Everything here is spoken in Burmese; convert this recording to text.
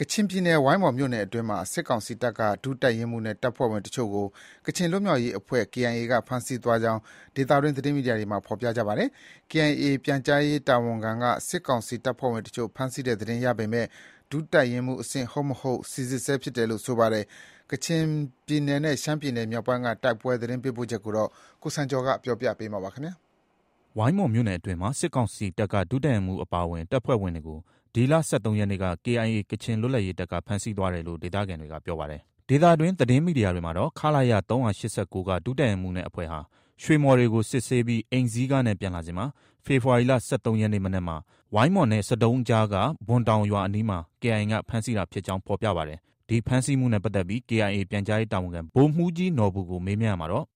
ကချင်ပြည်နယ် ဝိုင်းမော်မြို့နယ်အတွင်းမှာ စစ်ကောင်စီတပ်က ဒုတပ်ရင်းမှုးနဲ့ တပ်ဖွဲ့ဝင်အချို့ကို ကချင်လွတ်မြောက်ရေးတပ်ဖွဲ့ KIA က ဖမ်းဆီးသွားကြောင်း ဒေသတွင်း သတင်းမီဒီယာတွေမှာ ဖော်ပြထားပါတယ်။ KIA ပြန်ကြားရေးတာဝန်ခံက စစ်ကောင်စီတပ်ဖွဲ့ဝင်အချို့ ဖမ်းဆီးတဲ့သတင်းရပေမယ့် ဒုတပ်ရင်းမှူးအဆင့်ဟုတ်မဟုတ်ကို စီစစ်ဆဲဖြစ်တယ်လို့ဆိုပါတယ်။ ကချင်ပြည်နယ်နဲ့ ရှမ်းပြည်မြောက်ပိုင်းက တိုက်ပွဲသတင်းပေးပို့ချက်ကိုတော့ ကိုစံကျော်က ပြောပြမှာပါ။ ဝိုင်းမော်မြို့နယ်အတွင်းမှာ စစ်ကောင်စီတပ်က ဒုတပ်ရင်းမှူးအပါအဝင် တပ်ဖွဲ့ဝင်တွေကို ဒီလ ၁၃ရက်နေ့က KIA ကချင်လွတ်လပ်ရေးတပ်က ဖမ်းဆီးသွားတယ်လို့ ဒေသခံတွေကပြောပါတယ်။ ဒေသတွင်း သတင်းမီဒီယာတွေမှာတော့ ခလရ ၃၈၉က ဒုတပ်ရင်းမှူးနဲ့အဖွဲ့ဟာ ရွှေမှော်တွေကို စစ်ဆေးပြီး အိမ်စီးကားနဲ့ ပြန်လာစဉ်မှာ ဖေဖော်ဝါရီလ ၁၃ရက်နေ့ မနက်မှာ ဝိုင်းမော်နဲ့ ဆဒုံးအကြားက ဘွမ်တောင်ရွာအနီးမှာ KIA က ဖမ်းဆီးတာဖြစ်ကြောင်း ဖော်ပြကြပါတယ်။ ဒီဖမ်းဆီးမှုနဲ့ပတ်သက်ပြီး KIA ပြန်ကြားရေးတာဝန်ခံ ဗိုလ်မှူးကြီးနော်ဘူကို မေးမြန်းရာမှာတော့ -